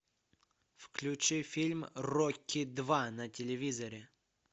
включи фильм рокки два на телевизоре